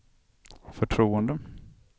förtroende